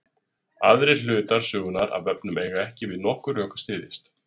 aðrir hlutar sögunnar af vefnum eiga ekki við nokkur rök að styðjast